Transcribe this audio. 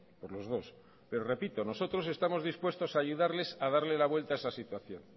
por los dos pero repito nosotros estamos dispuestos a ayudarles a darle la vuelta a esa situación